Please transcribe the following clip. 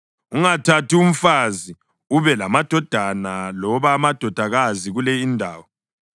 “Ungathathi mfazi ube lamadodana loba amadodakazi kule indawo.”